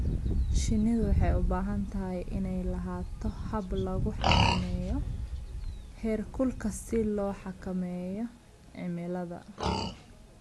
Shinnidu waxay u baahan tahay inay lahaato hab lagu xakameeyo heerkulka si loo xakameeyo cimilada.